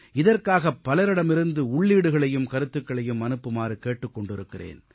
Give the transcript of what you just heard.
இதற்காக பலரிடமிருந்து உள்ளீடுகளையும் கருத்துக்களையும் அனுப்புமாறு கேட்டுக் கொண்டிருக்கிறேன்